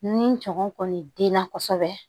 Ni tɔŋɔn kɔni denna kosɛbɛ